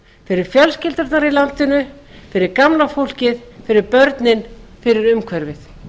fyrir fjölskyldurnar í landinu fyrir gamla fólkið fyrir börnin fyrir umhverfið